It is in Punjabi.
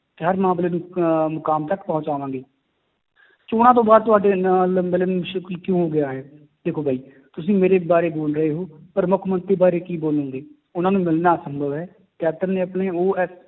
ਤੇ ਹਰ ਮਾਮਲੇ ਨੂੰ ਅਹ ਮੁਕਾਮ ਤੱਕ ਪਹੁੰਚਾਵਾਂਗੇ ਚੌਣਾਂ ਤੋਂ ਬਾਅਦ ਤੁਹਾਡੇ ਨਾਲ ਕਿਉਂ ਹੋ ਗਿਆ ਹੈ, ਦੇਖੋ ਬਾਈ ਤੁਸੀਂ ਮੇਰੇ ਬਾਰੇ ਬੋੋਲ ਰਹੇ ਹੋ, ਪਰ ਮੁੱਖ ਮੰਤਰੀ ਬਾਰੇ ਕੀ ਬੋਲੋਂਗੇ ਉਹਨਾਂ ਨੂੰ ਮਿਲਣਾ ਅਸੰਭਵ ਹੈ, ਕੈਪਟਨ ਨੇ ਆਪਣੇ ਉਹ